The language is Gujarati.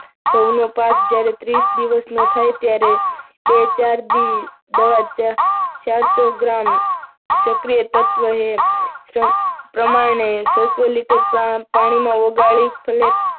ઘઉંનો પાક જ્યારે ત્રીસ દિવસમાં થાય ત્યારે, બે ચાર દિવસ દવા ચારસો ગ્રામ સક્રિય તત્વો પ્રમાણને છસો લિટર પાણીમાં ઓગાળી